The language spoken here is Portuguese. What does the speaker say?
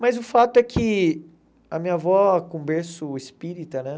Mas o fato é que a minha avó, com berço espírita, né?